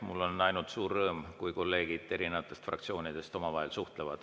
Mul on ainult suur rõõm, kui kolleegid erinevatest fraktsioonidest omavahel suhtlevad.